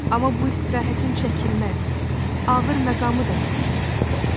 Amma bu istirahətin çəkilməz ağır məqamı da yox deyildi.